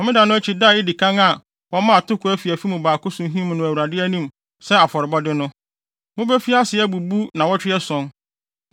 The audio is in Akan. “ ‘Homeda no akyi da a edi kan a wɔmaa atoko afiafi mu baako so him no Awurade anim sɛ afɔrebɔde no, mubefi ase abubu nnaawɔtwe ason.